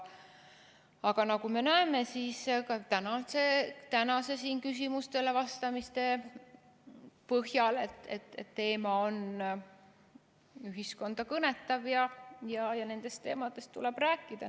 Aga nagu me näeme siin tänaste küsimuste põhjal, teema on ühiskonda kõnetav ja nendest teemadest tuleb rääkida.